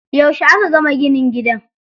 Yauce aka gama ginin gidan?